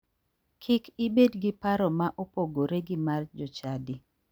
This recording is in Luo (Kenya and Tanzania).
Kik ibed gi paro ma opogore gi mar jochadi.